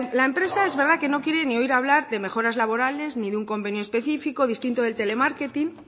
la empresa es verdad que no quiere ni oír hablar de mejoras laborales ni de un convenio específico distinto del telemarketing